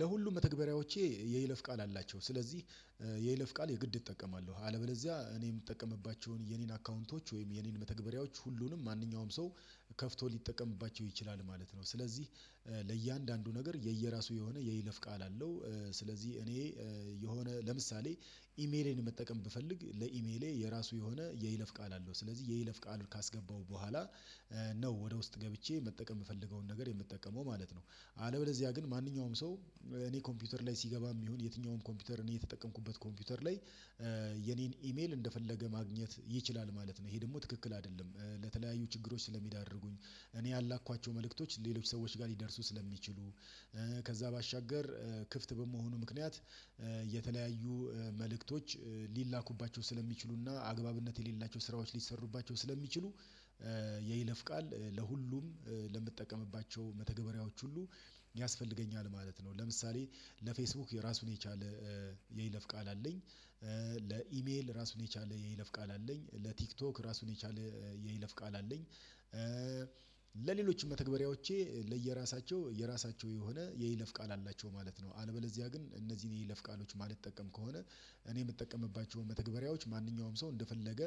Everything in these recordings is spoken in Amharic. ለሁሉም መተግበሪያዎቼ የይለፍ ቃል አላቸው ስለዚህ የይለፍ ቃል የግድ እጠቀማለሁ አለበለዚያ እኔ የምጠቀምባቸውን የኔን አካውንቶች ወይም የኔን መተግበሪያዎች ሁሉንም ማንኛውም ሰው ከፍቶ ሊጠቀምባቸው ይችላል ማለት ነው። ስለዚህ ለእያንዳንዱ ነገር የየራሱ የሆነ የይለፍ ቃል አለው። ስለዚህ እኔ የሆነ ለምሳሌ ኢሜሌን መጠቀም ብፈልግ ለኢሜሌ የራሱ የሆነ የይለፍ ቃል አለው ስለዚህ የይለፍ ቃል ካስገባው በኋላ ነው ወደ ውስጥ ገብቼ መጠቀም የምፈልገውን ነገር የምጠቀመው ማለት ነው። አለበለዚያ ግን ማንኛውም ሰው እኔ ኮምፒውተር ላይ ሲገባም ይሁን የትኛውም ኮምፒውተር እኔ የተጠቀምኩበት ኮምፒውተር ላይ የኔን ኢሜል እንደፈለገ ማግኘት ይችላል ማለት ነው። ይሄ ደግሞ ትክክል አይደለም። ለተለያዩ ችግሮች ስለሚዳርጉኝ እኔ ያላኳቸው መልእክቶች ሌሎች ሰዎች ጋር ሊደርሱ ስለሚችሉ። ከዛ ባሻገር ክፍት በመሆኑ ምክንያት የተለያዩ መልእክቶች ሊላኩባቸው ስለሚችሉና አግባብነት የሌላቸው ስራዎች ሊሰሩባቸው ስለሚችሉ። ይለፍቃል ለሁሉም ለምትጠቀምባቸው መተግበሪያዎች ሁሉ ያስፈልገኛል ማለት ነው። ለምሳሌ ለፌስቡክ የራሱን የቻለ የይለፍ ቃል አለኝ። ለኢሜል ራሱን የቻለ የይለፍ ቃል አለኝ። ለቲክቶክ ራሱን የቻለ የይለፍ ቃል አለኝ። ለሌሎችም ተግባራዎቼ ለየራሳቸው የራሳቸው የሆነ የይለፍ ቃል አላቸው ማለት ነው። አለበለዚያ ግን እነዚህን ይሄ ለፍ ቃሎች የማልጠቀም ከሆነ እኔ የምጠቀምባቸውን መተግበሪያዎች ማንኛውም ሰው እንደፈለገ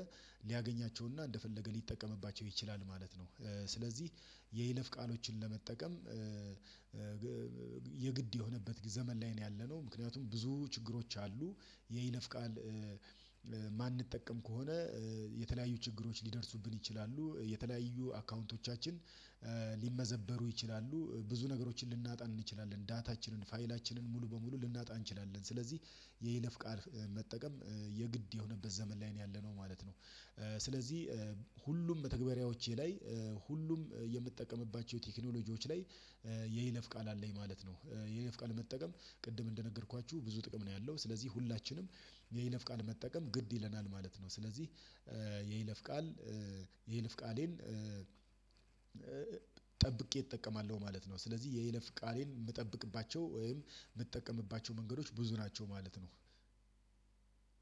ሊያገኛቸውና እንደፈለገ ሊጠቀምባቸው ይችላል ማለት ነው። ስለዚህ የይለፍ ቃሎችን ለመጠቀም የግድ የሆነበት ዘመን ላይ ነው ያለነው ምክንያቱም ብዙ ችግሮች አሉ። የይነፍ ቃል ማንጠቀም ከሆነ የተለያዩ ችግሮች ሊደርሱብን ይችላሉ የተለያዩ አካውንቶቻችን ሊመዘበሩ ይችላሉ። ብዙ ነገሮችን ልናጣ እንችላለን ዳታችንን ፋይላችንን ሙሉ በሙሉ ልናጣ እንችላለን። ስለዚህ የይለፍ ቃል መጠቀም የግድ የሆነበት ዘመን ላይ ነው ያለነው ማለት ነው። ስለዚህ ሁሉም መተግባራዎቼ ላይ ሁሉም የምጠቀምባቸው ቴክኖሎጂዎች ላይ የይለፍ ቃል አለኝ ማለት ነው። የይለፍ ቃል ቅድም እንደነገርኳችሁ ብዙ ጥቅም ነው ያለው ስለዚህ ሁላችንም የይለፍ ቃል መጠቀም ግድ ይለናል ማለት ነው። ስለዚህ የይለፍ ቃል የይልፍ ቃሌን ጠብቄ እጠቀማለሁ ማለት ነው። ስለዚህ የይለፍ ቃሌን የምጠብቅባቸው ወይም የምጠቀምባቸው መንገዶች ብዙ ናቸው ማለት ነው።